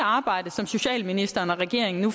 arbejde som socialministeren og regeringen nu